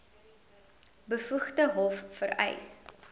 bevoegde hof vereis